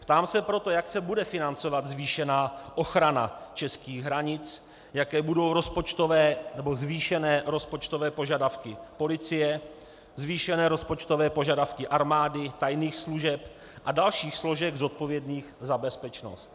Ptám se proto, jak se bude financovat zvýšená ochrana českých hranic, jaké budou rozpočtové nebo zvýšené rozpočtové požadavky policie, zvýšené rozpočtové požadavky armády, tajných služeb a dalších složek zodpovědných za bezpečnost.